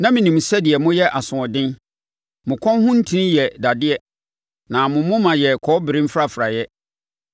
Na menim sɛdeɛ moyɛ asoɔden. Mo kɔn ho ntini yɛ dadeɛ na mo moma yɛ kɔbere mfrafraeɛ.